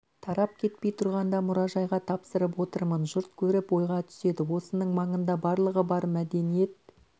тарап кетпей тұрғанда мұражайға тапсырып отырмын жұрт көріп ойға түседі осының маңында барлығы бар мәдениет